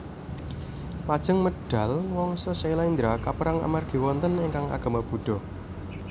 Lajeng medal Wangsa Syailendra kapérang amargi wonten ingkang agama Buddha